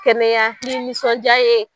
Kɛnɛya ni nisɔndiya ye